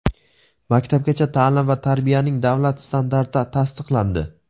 "Maktabgacha taʼlim va tarbiyaning davlat standarti" tasdiqlandi.